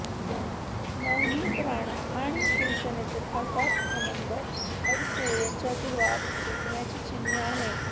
नवनीत राणा आणि शिवसेनेचे खासदार आनंद अडसूळ यांच्यातील वाद पेटण्याची चिन्ह आहे